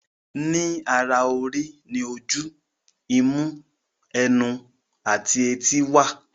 Ní ara orí ní oju, imú, ẹnu, àti etí wà.